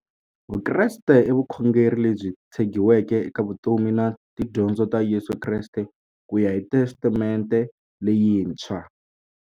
Vukreste i vukhongeri lebyi tshegiweke eka vutomi na tidyondzo ta Yesu Kreste kuya hi Testamente leyintshwa.